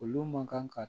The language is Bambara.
Olu man kan ka